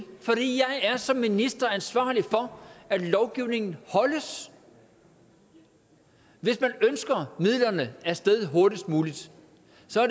er som minister er ansvarlig for at lovgivningen holdes hvis man ønsker midlerne af sted hurtigst muligt